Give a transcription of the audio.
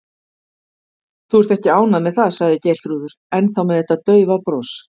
Þú ert ekki ánægð með það, sagði Geirþrúður, ennþá með þetta daufa bros.